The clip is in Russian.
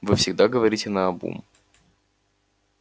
вы всегда говорите наобум